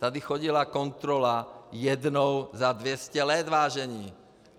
Tady chodila kontrola jednou za 200 let, vážení.